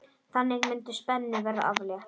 Þannig mundi spennu verða aflétt.